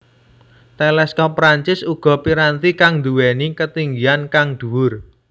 Teleskop Perancis uga piranti kang nduwèni ketinggian kang dhuwur